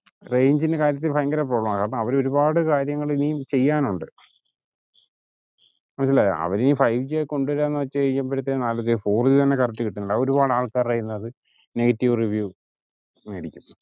range ൻ്റെ കാര്യത്തിൽ ഭയങ്കര കുറവാ കാരണം അവര് ഒരുപാട് കാര്യങ്ങള് ഇനി ചെയ്യാൻ ഒണ്ട് ഇല്ലാ അവരീ ഫൈവ് ജി കൊണ്ടവരാന്ന് വച്ചേ കയുമ്പോളത്തേക്ക് ആലോയിച്ചു നോക്ക് ഫൗർ ജി തന്നെ correct കിട്ടുന്നില്ല അതൊരുപാട് ആൾക്കാരോട് negative review കൂടി മേടിക്കും